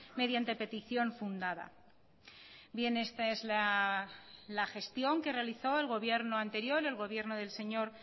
mediante petición fundada bien esta es la gestión que realizó el gobierno anterior el gobierno del señor